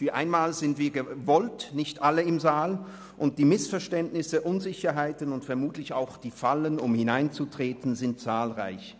Für einmal sind wir gewollt nicht alle im Saal, und die Missverständnisse, Unsicherheiten und vermutlich auch die Fallen, in die man hineintreten kann, sind zahlreich.